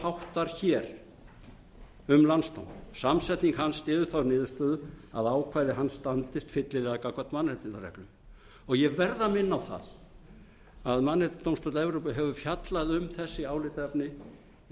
háttar hér um landsdóm samsetning hans styður þá niðurstöðu að ákvæði hans standist fyllilega gagnvart mannréttindareglum ég verð að minna á það að mannréttindadómstóll evrópu hefur fjallað um beri álitaefni í